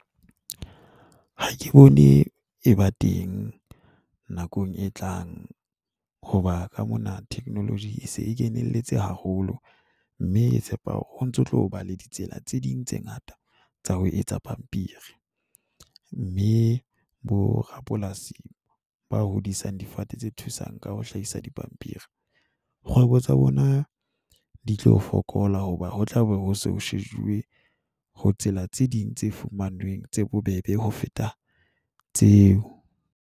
Ha ke bone e ba teng nakong e tlang hoba ka mona technology e se e kenelletse haholo mme tshepa hore ho ntso tloba le ditsela tse ding tse ngata tsa ho etsa pampiri, mme borapolasi ba hodisang difate tse thusang ka ho hlahisa di pampiri. Kgwebo tsa bona di tlo fokola hoba ho tlabe ho shejuwe ho tsela tse ding tse fumanweng tse bobebe ho feta tseo.